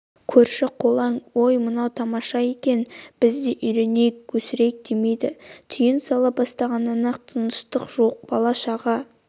көрші-қолаң ой мынау тамаша екен біз де үйренейік өсірейік демейді түйін сала бастағаннан-ақ тыныштық жоқ бала-шаға